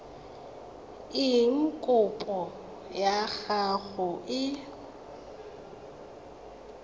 eng kopo ya gago e